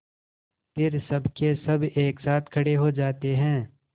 फिर सबकेसब एक साथ खड़े हो जाते हैं